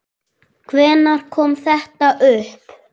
Hvenær kom þetta upp?